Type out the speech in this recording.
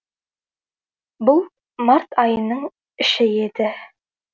бұл март айының іші еді